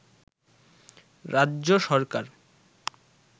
রাজ্য সরকার